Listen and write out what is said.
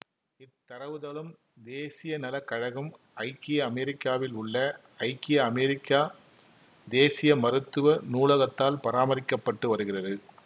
இத்தரவுத்தளம் தேசிய நல கழகம் ஐக்கிய அமெரிக்காவில் உள்ள ஐக்கிய அமெரிக்கா தேசிய மருத்துவ நூலகத்தால் பராமரிக்க பட்டு வருகிறது